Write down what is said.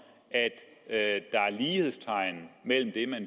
at der er lighedstegn mellem